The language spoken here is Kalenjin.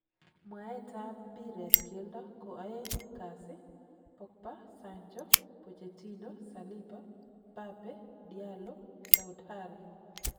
Mwaeetap mbiret geldo ko aeng' kasi, Pogba, Sancho, Pochettino, Saliba, Mbappe, Diallo, Choudhury.